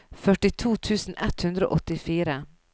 førtito tusen ett hundre og åttifire